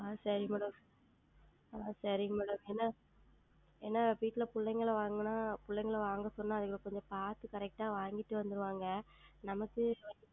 ஆஹ் சரி Madam ஆஹ் சரி Madam ஏனால் வீட்டில் பிள்ளைகள் எல்லாம் வாங்கினால் பிள்ளைகளை எல்லாம் வாங்க சொன்னால் அவர்கள் கொஞ்சம் பார்த்து Correct ஆ வாங்கிக்கொண்டு வந்து விடுவார்கள் நமக்கு